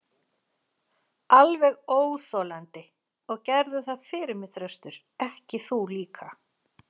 Alveg óþolandi, og gerðu það fyrir mig Þröstur, ekki þú líka.